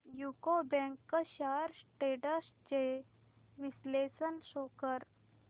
UCO bank shares trends चे विश्लेषण show कर